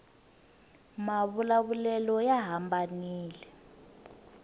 mavula vulelo ya hambanile